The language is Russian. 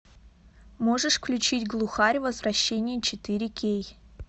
можешь включить глухарь возвращение четыре кей